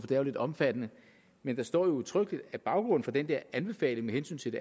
det er lidt omfattende men der står jo udtrykkeligt at baggrunden for den der anbefaling med hensyn til